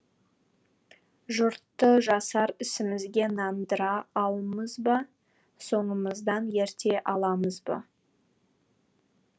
жұртты жасар ісімізге нандыра алмыз ба соңымыздан ерте аламыз ба